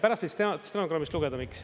Pärast võid stenogrammist lugeda, miks.